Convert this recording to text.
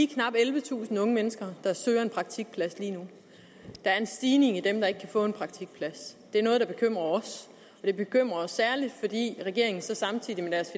knap ellevetusind unge mennesker der søger en praktikplads lige nu der er en stigning i dem der ikke kan få en praktikplads det er noget der bekymrer os og det bekymrer os særligt fordi regeringen samtidig med deres